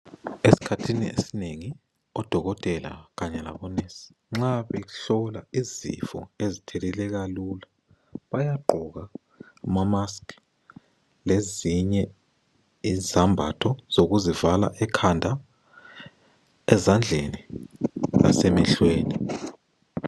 Esikhathini esinengi odokotela labo"nurse" nxa behlola izifo ezithelelwa lula bayagqoka ama"mask" lezinye izembatho zokuzivala ikhanda ,ezandleni lasemehlweni.